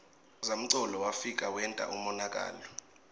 zamcolo wefika wenta umonakalo